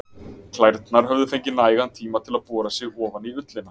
Klærnar höfðu fengið nægan tíma til að bora sig ofan í ullina.